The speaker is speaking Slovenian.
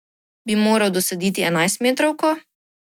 Bi moral dosoditi enajstmetrovko?